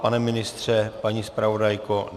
Pane ministře, paní zpravodajko?